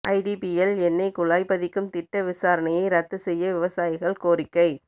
IDPL எண்ணெய் குழாய் பதிக்கும் திட்ட விசாரணையை ரத்து செய்ய விவசாயிகள் கோரிக்கை